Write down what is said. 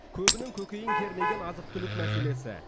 көбінің көкейін кернеген азық түлік мәселесі